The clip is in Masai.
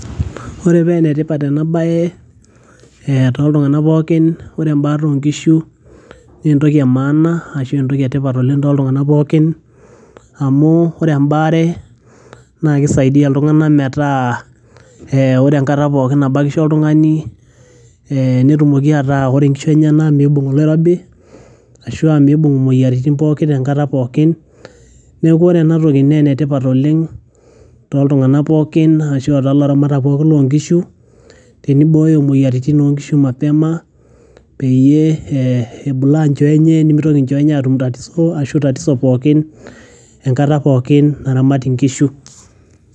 Ore pee enetipat enaa bae tooltung'ana pookin, ore embaata oo nkishu naa entoki e maana ashu entoki e tipat too ltung'ana pookin, amu ore embaare naa keisaidia iltung'ana metaa ore enkata pooki nabakisho oltung'ani netumoki ataa ore inkishu enyena naa meibung' oloirobi aashu aa meibung' imoyiaritin pooki enkata pooki. Neaku ore enaa toki naa enetipat oleng' tooltung'ana pooki, ashu too laramatak pooki loo nkishu teneibooyo imoyiaritin o nkishu mapema, peyie ebulaa nchoo enche nemeitoki nchoo enye aatum tatiso ashu tatiso pooki enkata naramati nkishu.